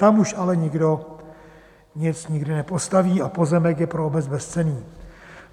Tam už ale nikdo nic nikdy nepostaví a pozemek je pro obec bezcenný.